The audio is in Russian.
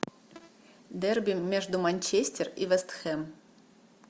дерби между манчестер и вест хэм